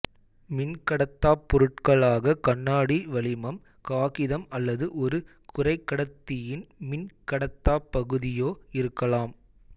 மின்கடத்தாப் பொருட்களாக கண்ணாடி வளிமம் காகிதம் அல்லது ஒரு குறைகடத்தியின் மின் கடத்தாப் பகுதியோ இருக்கலாம்